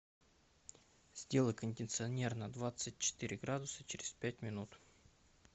сделай кондиционер на двадцать четыре градуса через пять минут